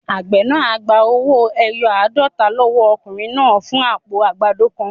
Àgbẹ̀ náà á gba owó-ẹyọ aadota lọ́wọ́ ọkùnrin náà fún àpò àgbàdo kan.